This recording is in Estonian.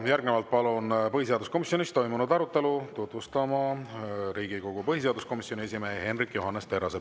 Järgnevalt palun põhiseaduskomisjonis toimunud arutelu tutvustama Riigikogu põhiseaduskomisjoni esimehe Hendrik Johannes Terrase.